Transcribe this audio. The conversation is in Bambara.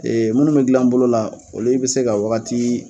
Ee munnu be gilan bolo la olu be se ka wagati